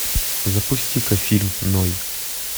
запусти ка фильм ной